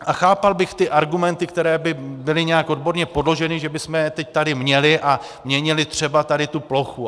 A chápal bych ty argumenty, které by byly nějak odborně podloženy, že bychom je teď tady měli a měnili třeba tady tu plochu.